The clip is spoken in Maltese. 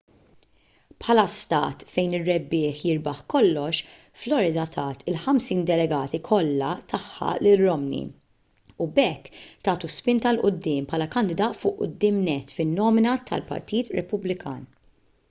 bħala stat fejn ir-rebbieħ jirbaħ kollox florida tat il-ħamsin delegati kollha tagħha lil romney u b'hekk tagħtu spinta il quddiem bħala kandidat fuq quddiem nett fin-nomina tal-partit repubblikan